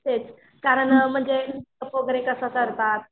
कारण म्हणजे मेकअप वगैरे कसा करतात?